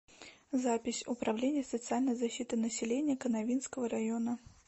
запись управление социальной защиты населения канавинского района